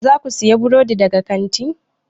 Za ku sayi burodi daga kantin?